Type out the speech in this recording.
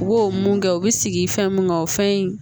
U b'o mun kɛ u bɛ sigi fɛn mun kan o fɛn in